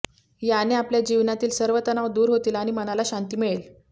याने आपल्या जीवनातील सर्व तणाव दूर होतील आणि मनाला शांती मिळेल